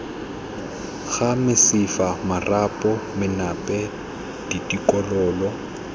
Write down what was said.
ga mesifa marapo menape ditokololo